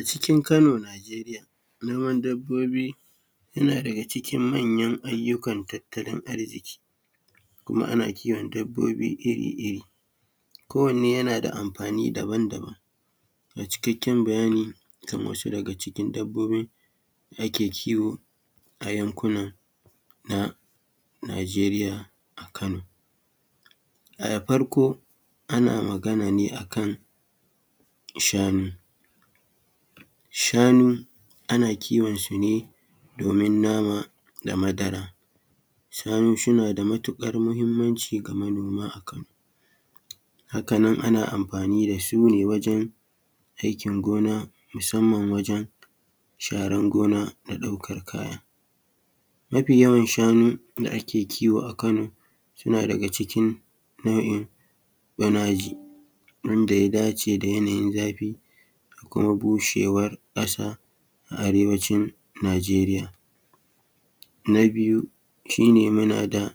A cikin kano Nijeriya noma dabbobi yana daga cikin manyan ayyukan tattalin arziki kuma ana kiwon dabbobi iri-iri ,kowanne yana da amfani daban-daban ga cikaken bayani kamar yadda ake kiwo a yankuna Nijeriya a kano. Farko ana magana ne akan shanu, shanu ana kiwonsu ne domin nama da madara shanu suna da matukar mahimmanci ga manoma a Kano. Haka nan ana amfani da su ne wajen aikin gona musamman wajen sharar gona da kuma ɗaukar kaya. Mafi yawan shanu da ake kiwo a kano suna daga cikin nau'in bonaji yadda ya dace da yanayin zafi da kuma bushewar kasa a Arewacin Nijeriya. Na biyu muna da